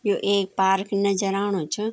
यु एक पार्क नजर आणु च।